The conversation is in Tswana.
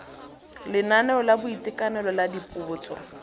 lenaneo la boitekanelo la dipotso